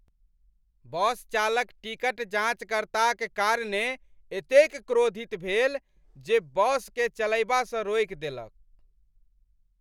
बस चालक टिकट जाँचकर्ताक कारणेँ एतेक क्रोधित भेल जे बसकेँ चलयबासँ रोकि देलक।